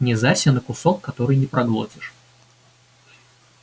не зарься на кусок который не проглотишь